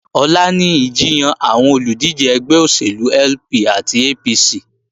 Ọ̀la ni ìjiyàn àwọn olùdíje ẹgbẹ́ òṣèlú LP àti APC